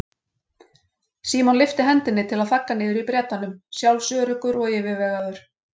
Símon lyfti hendinni til að þagga niður í Bretanum, sjálfsöruggur og yfirvegaður.